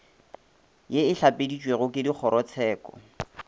ye e hlapeditšwego ke dikgorotsheko